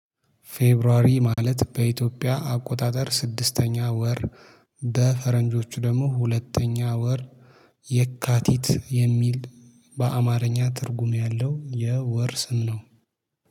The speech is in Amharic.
ፌብራዋሪ ማለት በኢትዮጵያ አቆጣጠር ስድስተኛ ወር በፈረንጆቹ ደግሞ ሁለተኛ ወር የካቲት የሚል በአማርኛ ትርጉም ያለው የወር ስም ነው